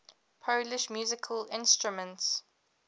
polish musical instruments